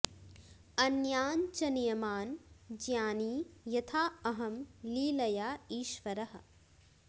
अन्यान् च नियमान् ज्ञानी यथा अहं लीलया ईश्वरः